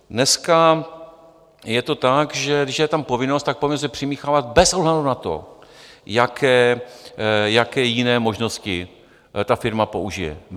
Dneska je to tak, že když je tam povinnost, tak povinnost je přimíchávat bez ohledu na to, jaké jiné možnosti ta firma použije.